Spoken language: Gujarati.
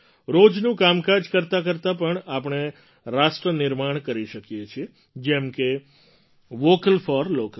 રોજનું કામકાજ કરતા કરતાં પણ આપણે રાષ્ટ્ર નિર્માણ કરી શકીએ છીએ જેમ કે વૉકલ ફૉર લૉકલ